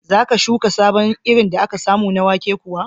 Za ka shuka sabon irin da aka samu na wake kuwa?